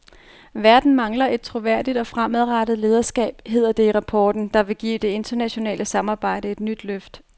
Verden mangler et troværdigt og fremadrettet lederskab, hedder det i rapporten, der vil give det internationale samarbejde et nyt løft.